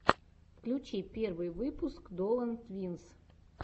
включи первый выпуск долан твинс